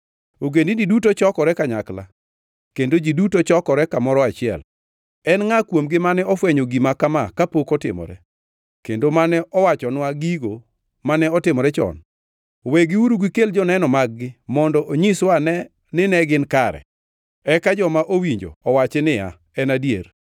Ogendini duto chokore kanyakla kendo ji duto chokore kamoro achiel. En ngʼa kuomgi mane ofwenyo gima kama kapok otimore kendo mane owachonwa gigo mane otimore chon? Wegiuru gikel joneno mag-gi mondo onyiswa ane ni ne gin kare, eka joma owinjo owachi niya, “En adier.”